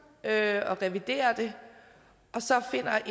at revidere det og så finder